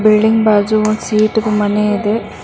Building ಬಾಜು ಒಂದ್ sheet ದು ಮನೆ ಇದೆ.